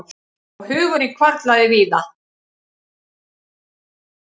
Og hugurinn hvarflaði víða.